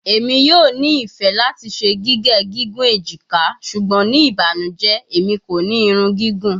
Emi yoo ni ifẹ lati ṣe gige gigun ejika ṣugbọn ni ibanujẹ Emi ko ni irun gigun